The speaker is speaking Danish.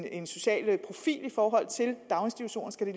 en social profil i forhold til daginstitutioner skal de